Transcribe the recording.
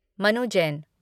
Manu Jain